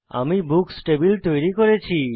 আমি books table তৈরী করেছি